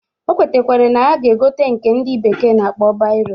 O kwetakwara na ya ga-egote nke ndị bekee na-akpọ bairo